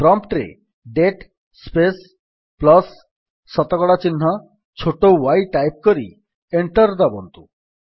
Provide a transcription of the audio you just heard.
prompt ରେ date space plus ଶତକଡା ଚିହ୍ନ ଛୋଟ y ଟାଇପ୍ କରି ଏଣ୍ଟର୍ ଦାବନ୍ତୁ